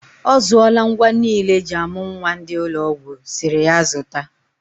Ọzụọla ngwa niile eji amụ nwa ndị ụlọ ọgwụ sịrị ya zụta.